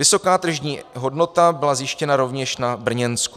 Vysoká tržní hodnota byla zjištěna rovněž na Brněnsku.